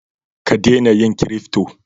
Ka dena yin kirifto